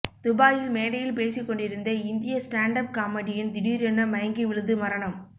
துபாயில் மேடையில் பேசிக் கொண்டிருந்த இந்திய ஸ்டாண்ட் அப் காமெடியன் திடீரென மயங்கி விழுந்து மரணம்